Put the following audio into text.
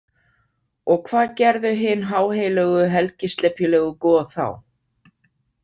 Og hvað gerðu hin háheilögu helgislepjulegu goð þá?